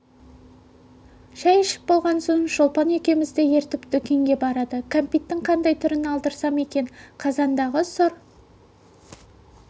шай ішіп болған соң шолпан екеуімізді ертіп дүкенге барады кәмпиттің қандай түрін алдырсам екен қазандағы сұр